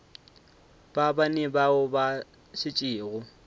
ba bane bao ba šetšego